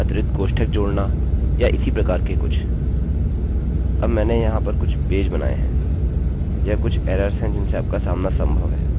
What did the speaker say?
ऐसी गलतियाँ सभी करते हैं अर्धविराम छोड़ना या एक अतिरिक्त कोष्ठक जोड़ना या इसी प्रकार से कुछ